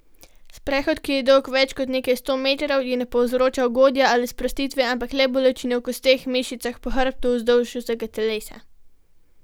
Sprehod, ki je dolg več kot nekaj sto metrov, ji ne povzroča ugodja ali sprostitve, ampak le bolečine v kosteh, mišicah, po hrbtu, vzdolž vsega telesa.